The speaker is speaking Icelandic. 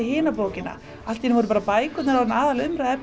hina bókina allt í einu voru bækur orðnar aðalatriðið